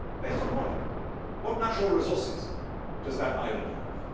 Based on what? What natural resources does that island have?